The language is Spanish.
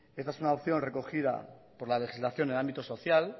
esta es una opción recogida por la legislación en el ámbito social